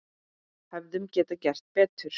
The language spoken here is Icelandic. Hefðum við getað gert betur?